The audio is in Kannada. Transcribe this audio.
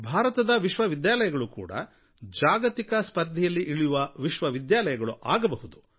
ಭಾರತದ ವಿಶ್ವವಿದ್ಯಾಲಯಗಳೂ ಕೂಡ ಜಾಗತಿಕ ಸ್ಪರ್ಧೆಯಲ್ಲಿ ಇಳಿಯುವ ವಿಶ್ವವಿದ್ಯಾಲಯಗಳಾಗಬಹುದು